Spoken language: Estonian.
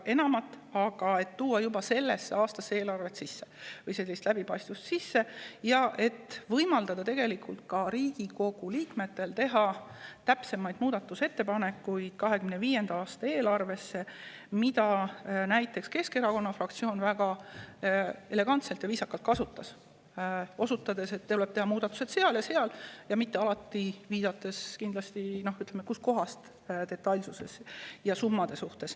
Aga me mõtlesime, kas võiks tuua juba 2025. aasta eelarvesse rohkem läbipaistvust ja võimaldada ka Riigikogu liikmetele täpsemaid muudatusi teha – näiteks Keskerakonna fraktsioon juba väga elegantselt ja viisakalt seda võimalust kasutas, osutades, et tuleb teha muudatusi seal ja seal – ja mitte alati kindlatele summadele viidates.